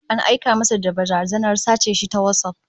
An aika masa da barazanar sace shi ta WhatsApp